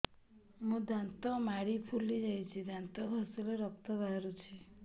ମୋ ଦାନ୍ତ ମାଢି ଫୁଲି ଯାଉଛି ଦାନ୍ତ ଘଷିଲେ ରକ୍ତ ବାହାରୁଛି